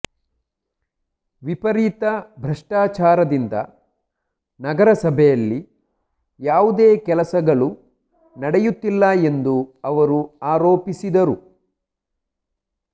ವಿಪರೀತ ಭ್ರಷ್ಟಾಚಾರದಿಂದ ನಗರ ಸಭೆಯಲ್ಲಿ ಯಾವುದೇ ಕೆಲಸಗಳು ನಡೆಯುತ್ತಿಲ್ಲ ಎಂದು ಅವರು ಆರೋಪಿಸಿದರು